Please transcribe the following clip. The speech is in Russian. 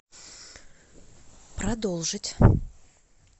продолжить